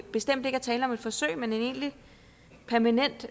bestemt ikke er tale om et forsøg men en egentlig permanent